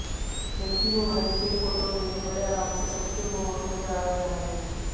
जबकी वो हर के फोटो में बड़े आराम से सबसे मोहक नजर आ रहा है